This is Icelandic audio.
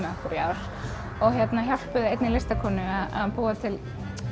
þau hjálpuðu einni listakonu að búa til